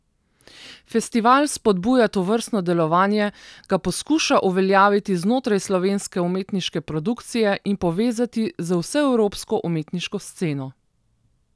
Festival spodbuja tovrstno delovanje, ga poskuša uveljaviti znotraj slovenske umetniške produkcije in povezati z vseevropsko umetniško sceno.